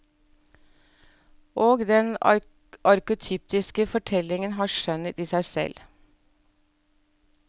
Og den arketypiske fortellingen har skjønnhet i seg selv.